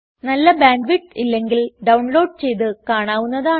നല്ല bandwidth ഇല്ലെങ്കിൽ download ചെയ്ത് കാണാവുന്നതാണ്